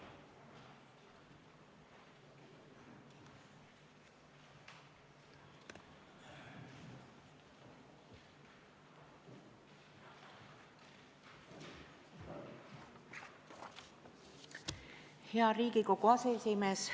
Hea Riigikogu aseesimees!